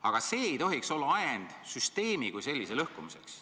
Aga see ei tohiks olla ajend süsteemi kui sellise lõhkumiseks.